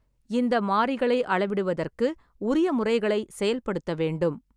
இந்த மாறிகளை அளவிடுவதற்கு உரிய முறைகளை செயல்படுத்த வேண்டும்.